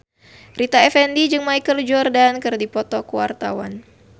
Rita Effendy jeung Michael Jordan keur dipoto ku wartawan